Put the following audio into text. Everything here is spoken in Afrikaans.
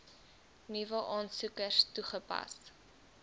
nuwe aansoekers toegepas